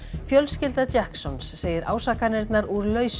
fjölskylda segir ásakanirnar úr lausu